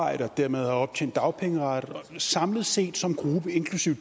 og dermed har optjent dagpengeret samlet set som gruppe inklusive